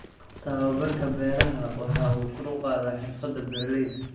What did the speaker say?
Tababarka beeraha waxa uu kor u qaadaa xirfada beeralayda.